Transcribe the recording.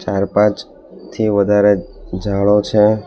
ચાર પાંચ થી વધારે જાડો છે.